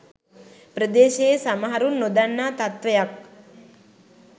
ප්‍රදේශයේ සමහරුන් නොදන්නා තත්ත්වයක්